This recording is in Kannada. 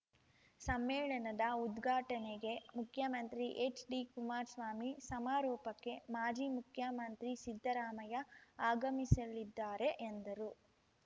ಸಮ್ಮೇಳನದ ಉದ್ಘಾಟನೆಗೆ ಮುಖ್ಯಮಂತ್ರಿ ಎಚ್‌ಡಿ ಕುಮಾರ್ಸ್ವಾಮಿ ಸಮಾರೋಪಕ್ಕೆ ಮಾಜಿ ಮುಖ್ಯಮಂತ್ರಿ ಸಿದ್ದರಾಮಯ್ಯ ಆಗಮಿಸಲಿದ್ದಾರೆ ಎಂದರು